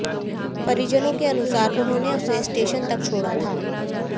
परिजनों के अनुसार उन्होंने उसे स्टेशन तक छोड़ा था